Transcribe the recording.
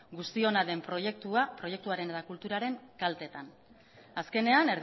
guztiona den proiektuaren eta kulturaren kaltean azkenean